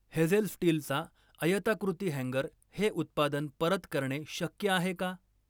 Hazel स्टीलचा आयताकृती हँगर हे उत्पादन परत करणे शक्य आहे का?